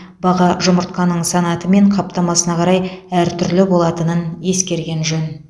баға жұмыртқаның санаты мен қаптамасына қарай әртүрлі болатынын ескерген жөн